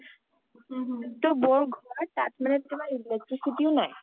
তোমাৰ টো বৌ ঘৰ তাত টো তোমাৰ electricity ও নাই